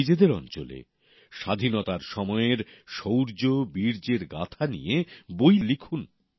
নিজেদের অঞ্চলে স্বাধীনতার সময়ের শৌর্য বীর্যের গাথা নিয়ে বই লিখুক